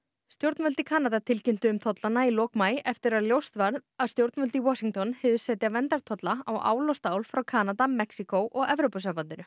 stjórnvöld í Kanada tilkynntu um tollana í lok maí eftir að ljóst var að stjórnvöld í Washington hyggðust setja verndartolla á ál og stál frá Kanada Mexíkó og Evrópusambandinu